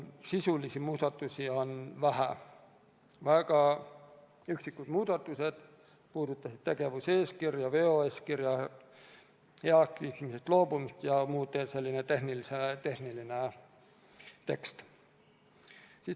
Sisulisi muudatusi on vähe, väga üksikud muudatused, need puudutavad tegevuseeskirja, veoeeskirja heakskiitmisest loobumist ja muud sellist tehnilist teksti.